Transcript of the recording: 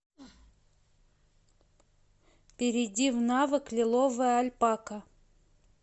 перейди в навык лиловая альпака